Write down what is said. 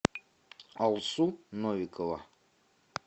алсу новикова